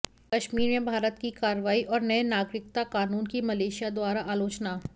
कश्मीर में भारत की कार्रवाई और नए नागरिकता कानून की मलेशिया द्वारा आलोचना